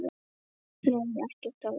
Nei, ekkert af þessu.